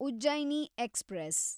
Ujjaini express